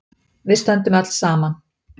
Við stöndum öll saman.